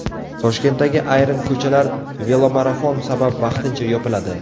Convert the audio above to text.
Toshkentdagi ayrim ko‘chalar velomarafon sabab vaqtincha yopiladi.